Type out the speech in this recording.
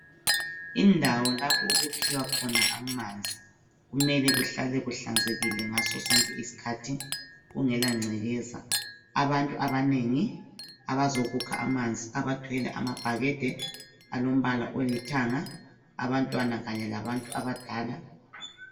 Indawo lapho okukhiwa khona amanzi kumele kuhlale kuhlanzekile ngasosonke isikhathi kungelangcekeza .Abantu abanengi abazokukha amanzi abathwele amabhakede alombala olithanga abantwana kanye labantu abadala